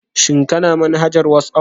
Shin Kana manhajar WhatsApp?